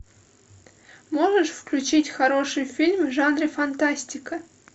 можешь включить хороший фильм в жанре фантастика